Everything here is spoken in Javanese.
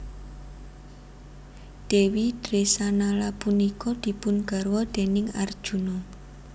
Dèwi Dresanala punika dipun garwa déning Arjuna